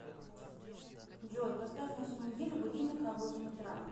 джой поставь на всю неделю будильник на восемь утра